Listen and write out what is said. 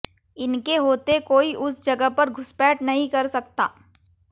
इनके होते कोई उस जगह पर घुसपैठ नहीं कर सकता